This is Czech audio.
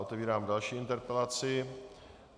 Otevírám další interpelaci.